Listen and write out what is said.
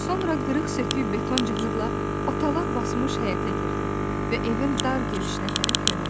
Sonra qırıq-sökük beton cığırla otalaq basmış həyətə girdi və evin dar girişinə tərəf yönəldi.